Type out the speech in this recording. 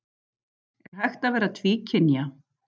Er hægt að vera tvíkynja?